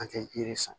An tɛ yiri sɔn